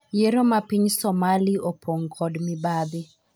yiero ma piny Somali opong' kod mibadhi